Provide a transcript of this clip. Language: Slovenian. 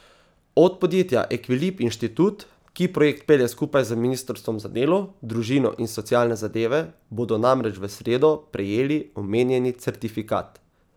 Od podjetja Ekvilib Inštitut, ki projekt pelje skupaj z ministrstvom za delo, družino in socialne zadeve, bodo namreč v sredo prejeli omenjeni certifikat.